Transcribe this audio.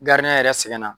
yɛrɛ sɛgɛn na